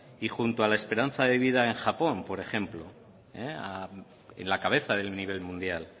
y junto a la esperanza de vida en japón por ejemplo en la cabeza del nivel mundial